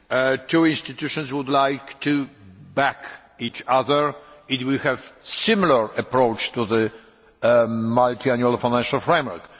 The two institutions would like to back each other, to have a similar approach to the Multiannual Financial Framework.